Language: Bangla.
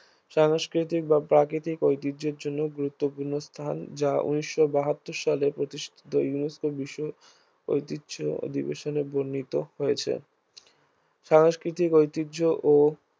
সাংস্কৃতিক বা প্রাকৃতিক ঐতিহ্যের জন্য গুরুত্বপূর্ণ স্থান যা ঊনিশ বাহাত্তর সালে প্রতিষ্ঠিত UNESCO বিশ্ব ঐতিহ্য অধিবেশনে বর্ণিত হয়েছে সাংস্কৃতিক ঐতিহ্য ও